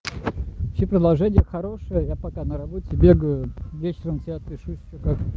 все предложения хорошие я пока на работе бегаю вечером тебе отпишусь что как